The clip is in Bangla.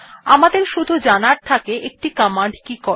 আমাদের শুধু জানার থাকে একটি কমান্ড কি করে